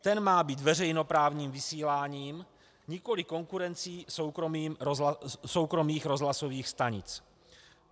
Ten má být veřejnoprávním vysíláním, nikoliv konkurencí soukromých rozhlasových stanic.